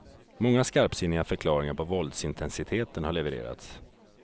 Många skarpsinniga förklaringar på våldsintensiteten har levererats.